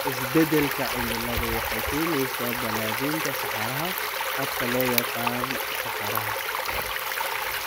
Isbeddelka cimiladu waxay keenaysaa balaadhinta saxaraha, habka loo yaqaan saxaraha.